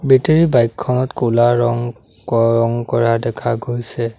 Battery bike খনত ক'লা ৰং ক ৰং কৰা দেখা গৈছে।